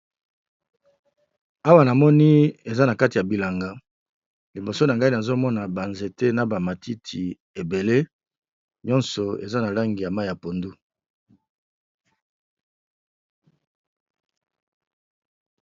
Awa na moni eza na kati ya bilanga liboso na ngai nazomona, banzete na bamatiti ebele nyonso eza na langi ya mai ya pondu.